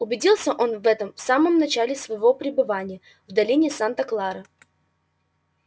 убедился он в этом в самом начале своего пребывания в долине санта клара